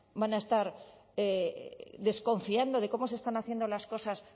van a estar desconfiando de cómo se están haciendo las cosas